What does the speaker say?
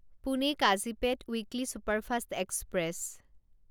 Pune Kazipet weekly superfast express